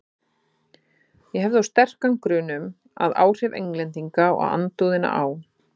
Ég hef þó sterkan grun um, að áhrif Englendinga og andúðina á